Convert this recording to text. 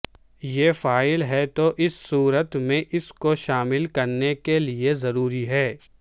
یہ فعال ہے تو اس صورت میں اس کو شامل کرنے کے لئے ضروری ہے